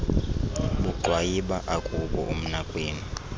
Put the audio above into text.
bugxwabayiba akubo umnakwenu